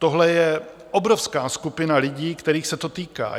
Tohle je obrovská skupina lidí, kterých se to týká.